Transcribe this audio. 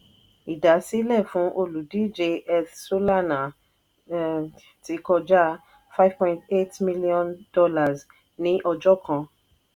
ìdásílẹ̀ fún olùdíje eth solana ti kọjá five point eight million dollars mílíọ̀nù ní ọjọ́ kan.